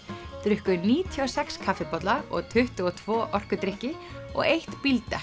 drukku níutíu og sex kaffibolla og tuttugu og tvö orkudrykki og eitt